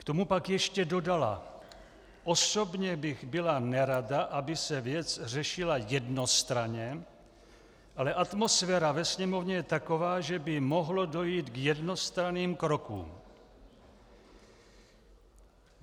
K tomu pak ještě dodala: "Osobně bych byla nerada, aby se věc řešila jednostranně, ale atmosféra ve Sněmovně je taková, že by mohlo dojít k jednostranným krokům."